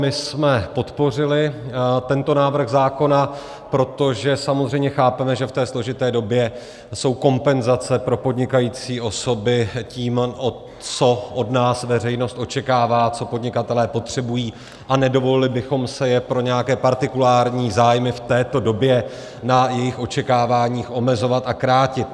My jsme podpořili tento návrh zákona, protože samozřejmě chápeme, že v té složité době jsou kompenzace pro podnikající osoby tím, co od nás veřejnost očekává, co podnikatelé potřebují, a nedovolili bychom si je pro nějaké partikulární zájmy v této době na jejich očekáváních omezovat a krátit.